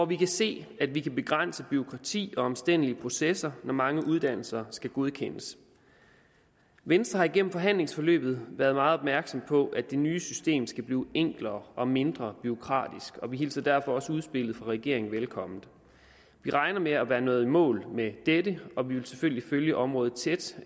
vi kan se at vi kan begrænse bureaukratiet og de omstændelige processer når mange uddannelser skal godkendes venstre har igennem forhandlingsforløbet været meget opmærksom på at det nye system skal blive enklere og mindre bureaukratisk og vi hilser derfor også udspillet fra regeringen velkommen vi regner med at være nået i mål med dette og vi vil selvfølgelig følge området tæt